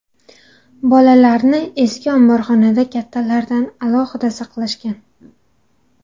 Bolalarni eski omborxonada kattalardan alohida saqlashgan.